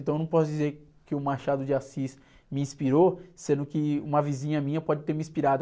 Então eu não posso dizer que o Machado de Assis me inspirou, sendo que uma vizinha minha pode ter me inspirado.